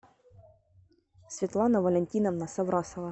светлана валентиновна соврасова